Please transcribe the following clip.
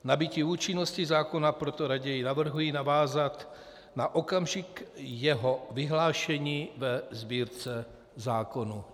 Nabytí účinnosti zákona proto raději navrhuji navázat na okamžik jeho vyhlášení ve Sbírce zákonů.